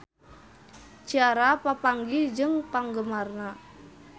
Ciara papanggih jeung penggemarna